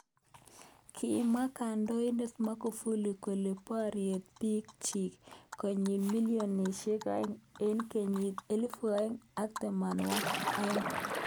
Kimwa kandoinet Magufuli kole borye bik chik konyi milionishek aeng eng kenyit elibu aeng ak tamnawakik aeng.